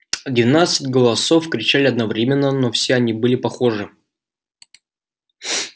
двенадцать голосов кричали одновременно но все они были похожи